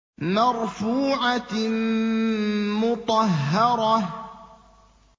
مَّرْفُوعَةٍ مُّطَهَّرَةٍ